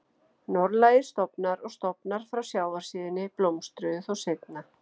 Norðlægir stofnar og stofnar frá sjávarsíðunni blómstruðu þó seinna.